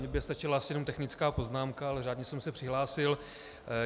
Mně by stačila asi jenom technická poznámka, ale řádně jsem se přihlásil.